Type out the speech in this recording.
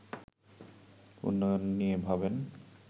উন্নয়ন নিয়ে ভাবেন